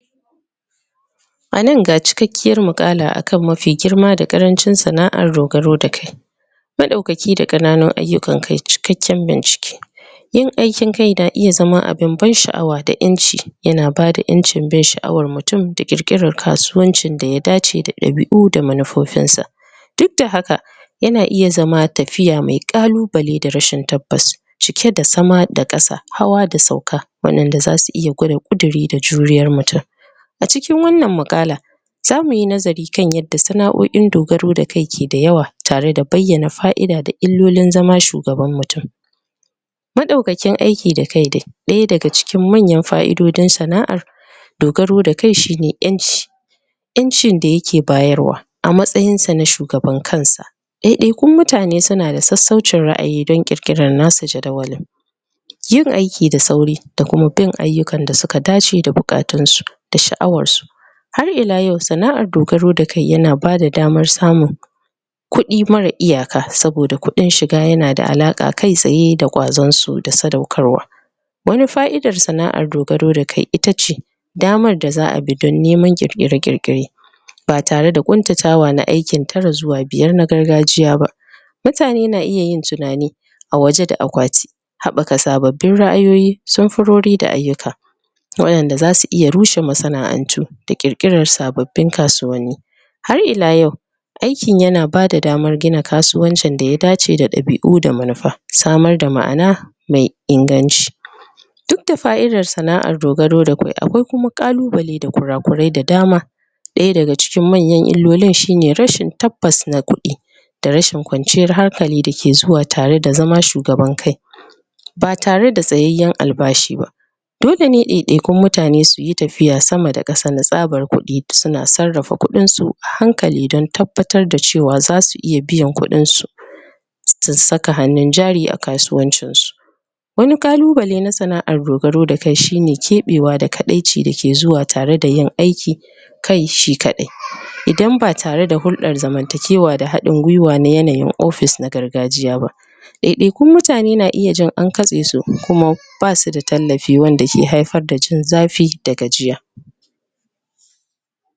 A nan ga cikakkiyar muƙada akan mafi girma da ƙarancin sana'ar dogaro da kai maɗaukaki da ƙananun ayyukan kai cikakken bincike yin aikin da iya zama abin ban sha'awa da ƴanci yana bada ƴancin bin sha'awar mutum da ƙirƙirar kasuwanci da ya dace da ɗabi'u da manufar sa duk da haka yana iya zama tafiya mai ƙalubale da rashin tabbas cike da sama da ƙasa hawa da sauka wannan da zasu gwada ƙudiri da juriyar mutum a cikin wannan muƙalan za muyi nazari kan yadda sana'o'in dogaro da kai ke da yawa tare da bayyana fa'ida da illolin zama shugaban mutum maɗaukakin aiki da kai da ɗaya daga cikin manyan fa'idodin sana'ar dogaro da kai shine ƴanci ƴancin da yake bayarwa a matsayin sa na shugaban kansa ɗaya ɗayakun mutane suna da sassaucin ra'ayi don ƙirƙiran nasu jadawalin yin aiki da sauri da kuma bin ayyukan da suka dace da buƙatun su da sha'awar su har ila yau sana'ar dogaro da kai yana bada damar samun kudi mara iyaka saboda kudin shiga yana da alaƙa kai tsaye da kwazon su da sadaukarwa wani fa'idar sana'ar dogaro da kai itace damar da za a bi don neman ƙirƙire-ƙirƙire ba tare da ƙuntatawa na aiki tara zuwa biyar na gargajiya ba mutane na iya yin tunani a waje da akwati haɓaka sababbin ra'ayoyi, sanfurori da ayyuka waɗanda za su iya rushe masana'antu da ƙirƙiran sababbin masana'antu har ila yau aikin yana bada daman gina kasuwanci daya dace da ɗabi'u da manufa samar da ma'ana mai inganci duk da fa'idar sana'ar dogaro da kai akwai kuma kalubale da kura kurai da dama ɗaya daga cikin manyan illolin shine rashin tabbas na kuɗi da rashin kwanciyar hankali da ke zuwa tare da zama shugaban kai ba tare da tsayayyen albashi ba dole ne ɗai ɗai kun mutane su yi tafiya sama da ƙasa na tsabar kuɗi suna sarrafa kuɗin su a hankali don tabbatar da cewa za su iya biyan kuɗin su su saka hannun jari a kasuwancin su wani ƙalubale na sana'ar dogaro da kai shine keɓewa da kaɗaici dake zuwa a tare da yin aiki kai shi kaɗai. Idan ba tare da hurɗan zamantakewan da haɗin gwuiwa na yanayin office na gargajiya ba ɗaya ɗai kun mutane na iya jin an katse su kuma basu da tallafin man da ke haifar da jin zafi da gajiya